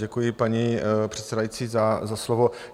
Děkuji, paní předsedající, za slovo.